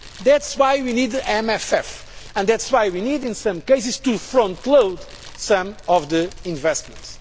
growth. That is why we need the MFF, and that is why we need in some cases to frontload some of the investments.